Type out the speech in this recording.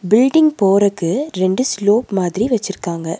Building போறக்கு ரெண்டு slope மாதிரி வெச்சிருக்காங்க.